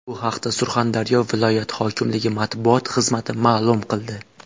Bu haqda Surxondaryo viloyat hokimligi matbuot xizmati ma’lum qildi.